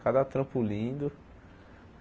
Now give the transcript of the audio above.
Cada trampo lindo.